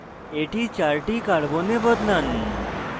এটি 4 the carbons বদলান